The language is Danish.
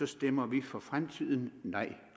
stemmer vi for fremtiden nej